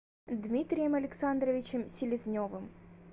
дмитрием александровичем селезневым